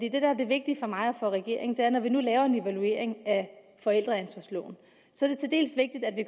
er det vigtige for mig og for regeringen er at når vi nu laver en evaluering af forældreansvarsloven